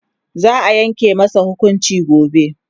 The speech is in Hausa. za'a Yanke masa hukunci gobe